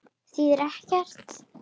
Þýðir ekkert.